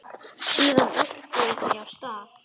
Síðan örkuðu þau af stað.